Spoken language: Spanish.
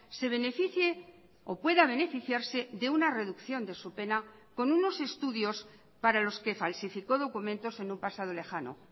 se beneficie o pueda beneficiarse de una reducción de su pena con unos estudios para los que falsificó documentos en un pasado lejano